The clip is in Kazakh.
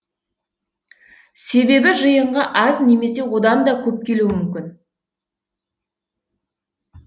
себебі жиынға аз немесе одан да көп келуі мүмкін